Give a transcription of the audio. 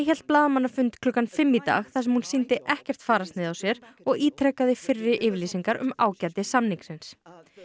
hélt blaðamannafund klukkan fimm í dag þar sem hún sýndi ekkert fararsnið á sér og ítrekaði fyrri yfirlýsingar um ágæti samningsins